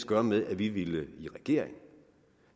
gøre med at vi ville i regering